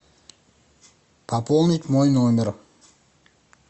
пополнить мой номер